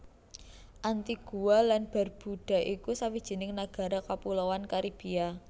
Antigua lan Barbuda iku sawijining nagara kapuloan Karibia